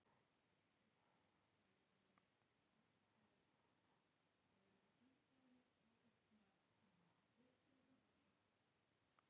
Bæði viðhorfin virðast því hafa nokkuð til síns máls.